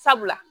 Sabula